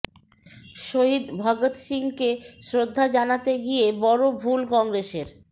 শহিদ ভগত্ সিংকে শ্রদ্ধা জানাতে গিয়ে বড় ভুল কংগ্রেসের